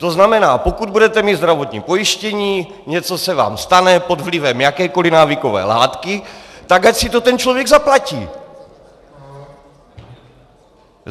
To znamená, pokud budete mít zdravotní pojištění, něco se vám stane pod vlivem jakékoli návykové látky, tak ať si to ten člověk zaplatí.